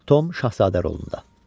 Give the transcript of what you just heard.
Tom şahzadə rolunda.